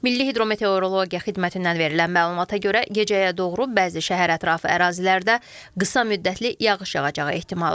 Milli hidrometeorologiya xidmətindən verilən məlumata görə gecəyə doğru bəzi şəhər ətrafı ərazilərdə qısa müddətli yağış yağacağı ehtimalı var.